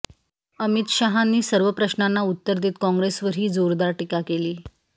अमित शाहांनी सर्व प्रश्नांना उत्तरं देत काँग्रेसवरही जोरदार टीका केली